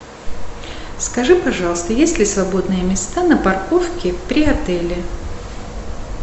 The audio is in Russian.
скажи пожалуйста есть ли свободные места на парковке при отеле